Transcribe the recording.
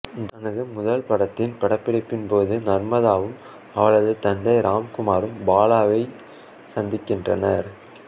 தனது முதல் படத்தின் படப்பிடிப்பின் போது நர்மதாவும் அவளது தந்தை ராம்குமாரும் பாலாவை சந்திக்கின்றனர்